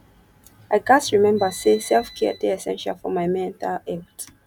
i gats remember say selfcare dey essential for my mental health